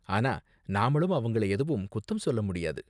ஆனா, நாமளும் அவங்கள எதுவும் குத்தம் சொல்ல முடியாது.